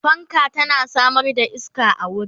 fanka tana Samar da iska a wuri